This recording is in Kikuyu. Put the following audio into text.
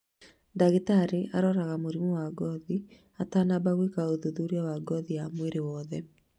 Dagĩtarĩ aroraga mũrimũ wa ngothi atanamba gwĩka ũthuthuria wa ngothi ya mwĩrĩ wothe